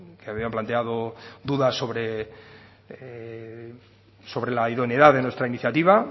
que habían planteado dudas sobre la idoneidad de nuestra iniciativa